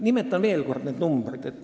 Nimetan veel kord need arvud.